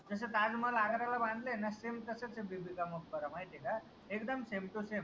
जस ताज महाल आगऱ्याला बांधलय ना same तसच ए बिबिका मकबरा माहितीय का? एकदम sametosame